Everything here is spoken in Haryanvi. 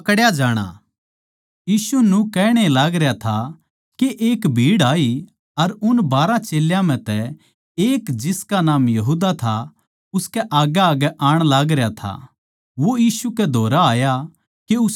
यीशु न्यू कहण ए लागरया था के एक भीड़ आई अर उन बारहां चेल्यां म्ह तै एक जिसका नाम यहूदा था उसकै आग्गैआग्गै आण लाग रह्या था वो यीशु कै धोरै आया के उसनै चूम ले